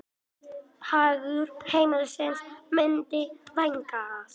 Hagur heimilisins myndi vænkast.